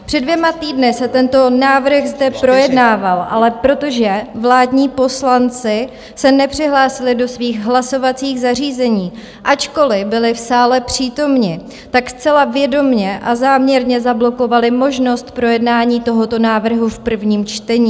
Před dvěma týdny se tento návrh zde projednával, ale protože vládní poslanci se nepřihlásili do svých hlasovacích zařízení, ačkoliv byli v sále přítomni, tak zcela vědomě a záměrně zablokovali možnost projednání tohoto návrhu v prvním čtení.